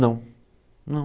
Não, não.